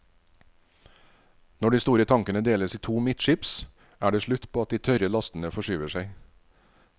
Når de store tankene deles i to midtskips, er det slutt på at de tørre lastene forskyver seg.